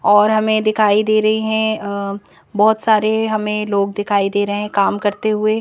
और हमें दिखाई दे रही हैं बहुत सारे हमें लोग दिखाई दे रहे हैं काम करते हुए--